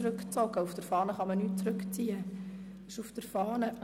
Die dort aufgeführten Anträge können nicht zurückgezogen werden.